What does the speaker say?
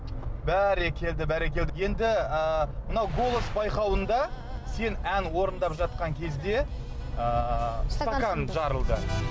бәрекелді бәрекелді енді ы мынау голос байқауында сен ән орындап жатқан кезде ыыы стакан жарылды